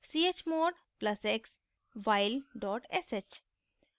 chmod + x while sh